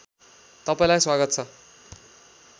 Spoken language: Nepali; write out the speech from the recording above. तपाईँलाई स्वागत छ